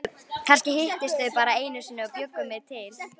Kannski hittust þau bara einu sinni og bjuggu mig til.